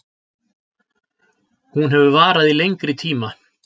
Hún hefur varað í lengri tíma